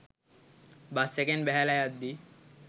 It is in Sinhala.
බස් එකෙන් බැහැලා යද්දී